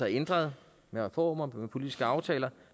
ændret med reformer og politiske aftaler